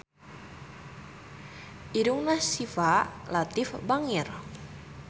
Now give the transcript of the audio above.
Irungna Syifa Latief bangir